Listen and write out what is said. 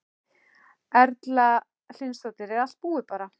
Erla Hlynsdóttir: Er allt búið bara?